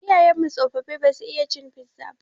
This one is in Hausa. Iyayen mu tsofaffi ba su iya cin fiza ba.